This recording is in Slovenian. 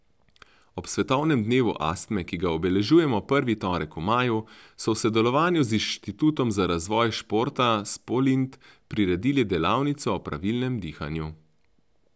Ob svetovnem dnevu astme, ki ga obeležujemo prvi torek v maju, so v sodelovanju z Inštitutom za razvoj športa Spolint priredili delavnico o pravilnem dihanju.